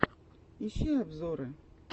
ищи обзоры